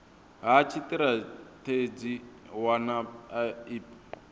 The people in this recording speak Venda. ha tshitirathedzhi u wana ip